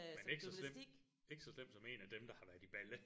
Men ikke så slemt ikke så slemt som en af dem der har været i Balle